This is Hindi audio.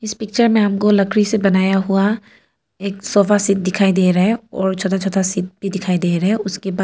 इस पिक्चर मे हमको लकड़ी से बनाया हुआ एक सोफा सेट दिखाई दे रहा है और छोटा छोटा सीट भी दिखाई दे रहा है उसके बा--